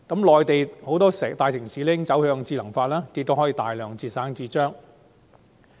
內地很多大城市已經走向智能化，以節省大量紙張。